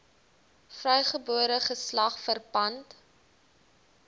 vrygebore geslag verpand